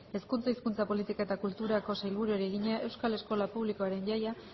hezkuntza hizkuntza politika eta kulturako sailburuari egina euskal eskola publikoaren jaia